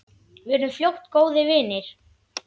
Við urðum fljótt góðir vinir.